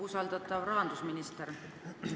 Umbusaldatav rahandusminister!